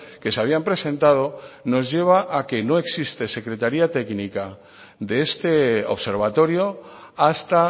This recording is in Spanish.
que se habían presentado nos lleva a que no existe secretaría técnica de este observatorio hasta